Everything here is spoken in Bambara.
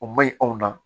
O ma ɲi anw ma